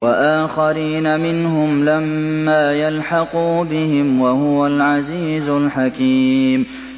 وَآخَرِينَ مِنْهُمْ لَمَّا يَلْحَقُوا بِهِمْ ۚ وَهُوَ الْعَزِيزُ الْحَكِيمُ